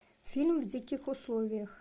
фильм в диких условиях